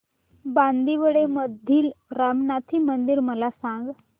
बांदिवडे मधील रामनाथी मंदिर मला सांग